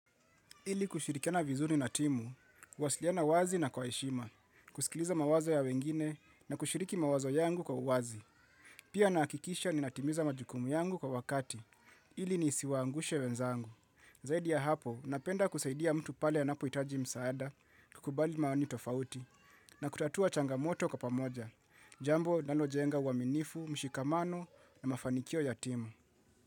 Ili kushirikiana vizuni na timu, kuwasiliana wazi na kwa heshima, kusikiliza mawazo ya wengine na kushiriki mawazo yangu kwa uwazi. Pia nahakikisha ninatimiza majukumu yangu kwa wakati, ili nisiwaangushe wenzangu. Zaidi ya hapo, napenda kusaidia mtu pale anapohitaji msaada, kukubali maoni tofauti, na kutatua changamoto kwa pamoja, jambo linalojenga uaminifu, mshikamano na mafanikio ya timu.